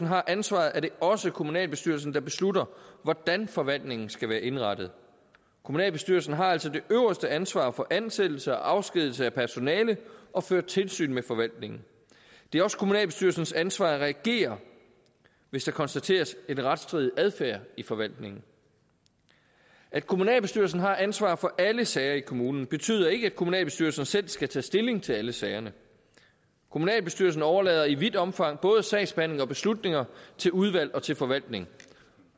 har ansvaret er det også kommunalbestyrelsen der beslutter hvordan forvaltningen skal være indrettet kommunalbestyrelsen har altså det øverste ansvar for ansættelse og afskedigelse af personale og fører tilsyn med forvaltningen det er også kommunalbestyrelsens ansvar at reagere hvis der konstateres en retsstridig adfærd i forvaltningen at kommunalbestyrelsen har ansvaret for alle sager i kommunen betyder ikke at kommunalbestyrelsen selv skal tage stilling til alle sagerne kommunalbestyrelsen overlader i vidt omfang både sagsbehandling og beslutninger til udvalg og til forvaltning